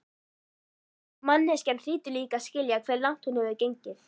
Manneskjan hlýtur líka að skilja hve langt hún hefur gengið.